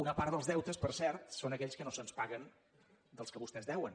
una part dels deutes per cert són aquells que no se’ns paguen dels que vostès deuen